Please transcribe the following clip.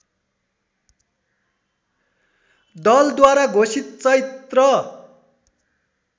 दलद्वारा घोषित चैत्र